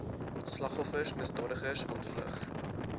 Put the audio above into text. slagoffers misdadigers ontvlug